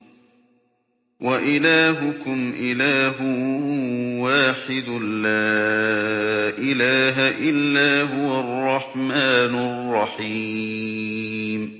وَإِلَٰهُكُمْ إِلَٰهٌ وَاحِدٌ ۖ لَّا إِلَٰهَ إِلَّا هُوَ الرَّحْمَٰنُ الرَّحِيمُ